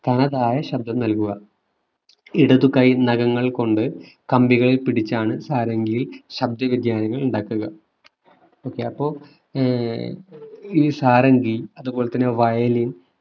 തനതായ ശബ്ദം നൽകുക ഇടതു കൈ നഖങ്ങൾ കൊണ്ട് കമ്പികൾ പിടിച്ചാണ് സാരംഗിയിൽ ശബ്ദ വ്യതിയാനങ്ങൾ ഉണ്ടാക്കുക okay അപ്പൊ ആഹ് ഈ സാരംഗി അതു പോലെ തന്നെ violin